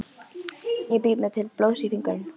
Ég bít mig til blóðs í fingurinn.